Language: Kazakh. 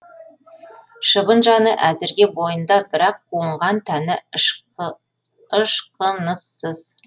шыбын жаны әзірге бойында бірақ қуынған тәні ышқыныссыз